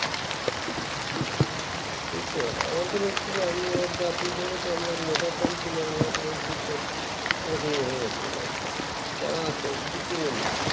সেই তো আমাদের actually আমরা যা পেয়েছি আমরা ওরকমই হয়ে থাকছি যারা আছে বিক্রমনি